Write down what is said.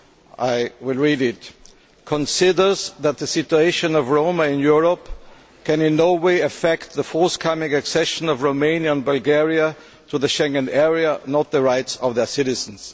I will read it Considers that the situation of Roma in Europe can in no way affect the forthcoming accession of Romania and Bulgaria to the Schengen Area, nor the rights of their citizens'.